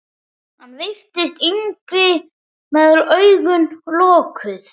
Hann virtist yngri með augun lokuð.